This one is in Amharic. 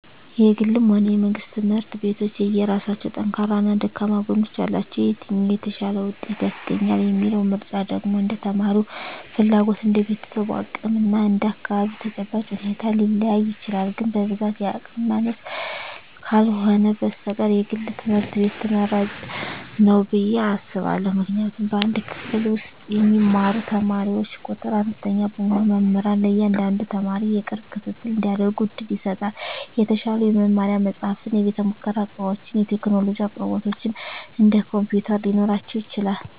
የግልም ሆነ የመንግሥት ትምህርት ቤቶች የየራሳቸው ጠንካራና ደካማ ጎኖች አሏቸው። የትኛው "የተሻለ ውጤት" ያስገኛል የሚለው ምርጫ ደግሞ እንደ ተማሪው ፍላጎት፣ እንደ ቤተሰቡ አቅም እና እንደ አካባቢው ተጨባጭ ሁኔታ ሊለያይ ይችላል። ግን በብዛት የአቅም ማነስ ካልህነ በስተቀር የግል ትምህርት ቤት ትመራጭ ንው ብየ አስባእሁ። ምክንያቱም በአንድ ክፍል ውስጥ የሚማሩ ተማሪዎች ቁጥር አነስተኛ በመሆኑ መምህራን ለእያንዳንዱ ተማሪ የቅርብ ክትትል እንዲያደርጉ ዕድል ይሰጣል። የተሻሉ የመማሪያ መጻሕፍት፣ የቤተ-ሙከራ ዕቃዎችና የቴክኖሎጂ አቅርቦቶች (እንደ ኮምፒውተር) ሊኖራቸው ይችላል።